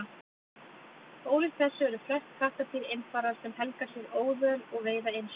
Ólíkt þessu eru flest kattardýr einfarar sem helga sér óðöl og veiða einsömul.